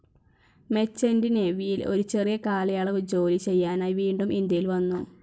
Merchant നേവിയിൽ ഒരു ചെറിയ കാലയളവ് ജോലി ചെയ്യാനായി വീണ്ടും ഇന്ത്യയിൽ വന്നു.